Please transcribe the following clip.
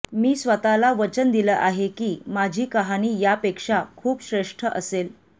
मी स्वतःला वचन दिलं आहे की माझी कहाणी यापेक्षा खूप श्रेष्ठ असेल